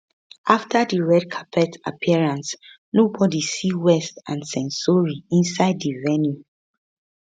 after di red carpet appearance nobody see west and censori inside di venue